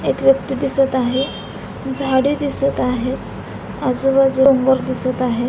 एक व्यक्ति दिसत आहे झाडी दिसत आहे आजूबाजूला बोट दिसत आहे.